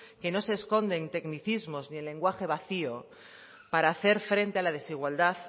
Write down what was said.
que no se esconden tecnicismos ni el lenguaje vacío para hacer frente a la desigualdad